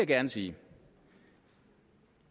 gerne sige